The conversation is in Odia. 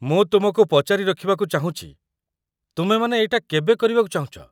ମୁଁ ତୁମକୁ ପଚାରି ରଖିବାକୁ ଚାହୁଁଛି, ତୁମେମାନେ ଏଇଟା କେବେ କରିବାକୁ ଚାହୁଁଛ?